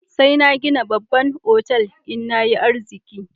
Sai na gina babban otal in na yi arziki.